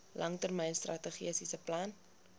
langtermyn strategiese plan